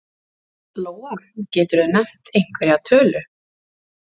Lóa: Geturðu nefnt einhverja tölu?